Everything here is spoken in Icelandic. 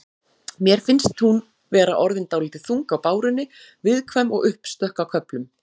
Mér finnst hún vera orðin dálítið þung á bárunni. viðkvæm og uppstökk á köflum.